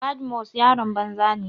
Badmus yaron banza ne.